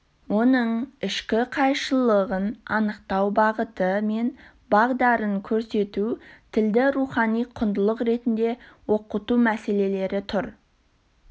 оның ішкі қайшылығын анықтау бағыты мен бағдарын көрсету тілді рухани құндылық ретінде оқыту мәселелері тұр